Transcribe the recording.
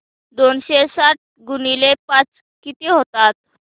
दोनशे साठ गुणिले पाच किती होतात